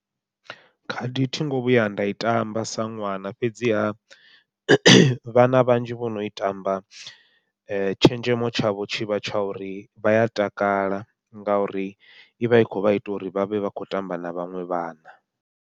Khadi thingo vhuya nda i tamba sa ṅwana, fhedziha vhana vhanzhi vhono i tamba tshenzhemo tshavho tshi vha tsha uri vha ya takala ngauri ivha i kho vha ita uri vhavhe vha kho tamba na vhaṅwe vhana.